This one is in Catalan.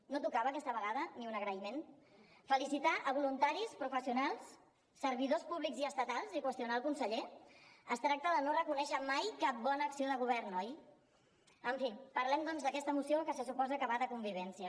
no tocava aquesta vegada ni un agraïment felicitar voluntaris professionals servidors públics i estatals i qüestionar el conseller es tracta de no reconèixer mai cap bona acció de govern oi en fi parlem doncs d’aquesta moció que se suposa que va de convivència